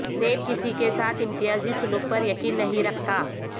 NAB کسی کے ساتھ امتیازی سلوک پر یقین نہیں رکھتا